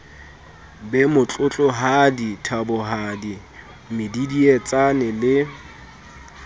be motlotlohadi thabohadi medidietsane le